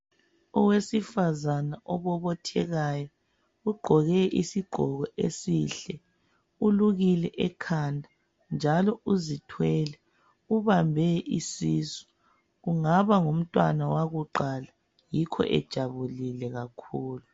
Owesifazana obobothekayo ugqoke isigqoko esihle. Ulukile ekhanda njalo uzithwele. Ubambe isisu. Kungaba ngumntwana wakuqala yikho ejabulile kakhulu.